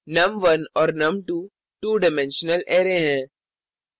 num1 और num22 dimensional array हैं